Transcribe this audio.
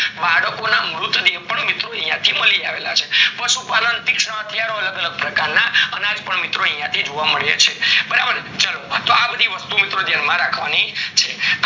બાળકોના મૃત દેહ પણ યાથી મળી આવ્યા છે પશુ પાલન તીક્ષાના ક્યાં અલગ પ્રકારના અનાય અવશેષો યાથી જોવા મળ્યા છે બરાબર ચાલો તો અ બધી વસ્તુ ઓ મિત્રો ધ્યાન માં રખવાની છે